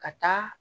Ka taa